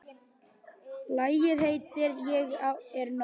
Lagið heitir Ég er nóg.